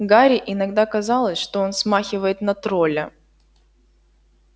гарри иногда казалось что он смахивает на тролля